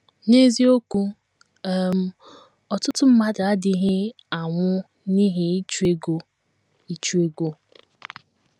N’eziokwu um, ọtụtụ mmadụ adịghị anwụ n’ihi ịchụ ego ịchụ ego.